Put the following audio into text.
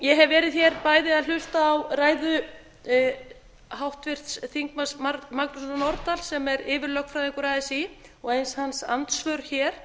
ég hef verið hér bæði að hlusta á ræðu háttvirts þingmanns magnúsar norðdahl sem er yfirlögfræðingur así og eins hans andsvör hér